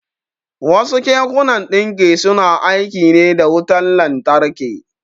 Wasu kekunan ɗinki suna aiki ne da wutan lantarki.